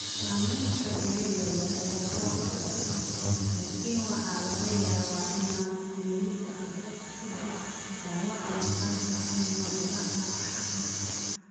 Samaynta finan yaryar ayaa hoos u dhacda, laakiin waxa laga yaabaa inay weli dhacdo ka dib dhaawaca maqaarka ama bilaha xagaaga.